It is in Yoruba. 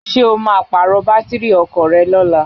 Ṣé o máa pààrọ̀ bátìrì ọkọ̀ rẹ lọ́la?